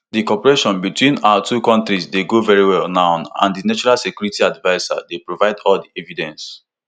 di cooperation between our two kontris dey go very well now and di national security adviser dey provide all di evidence